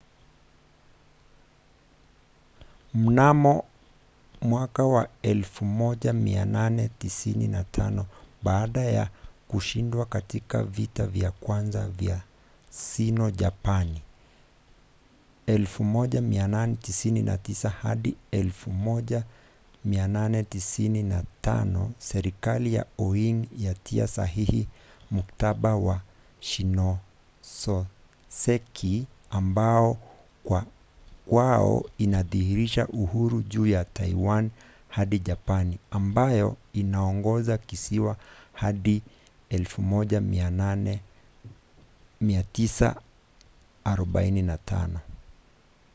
mnamo 1895 baada ya kushindwa katika vita vya kwanza vya sino-japani 1894-1895 serikali ya qing yatia sahihi mkataba wa shimonoseki ambao kwao inadhihirisha uhuru juu ya taiwan hadi japani ambayo inaongoza kisiwa hadi 1945